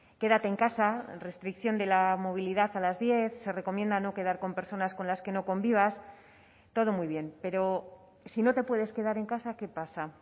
quédate en casa restricción de la movilidad a las diez se recomienda no quedar con personas con las que no convivas todo muy bien pero si no te puedes quedar en casa qué pasa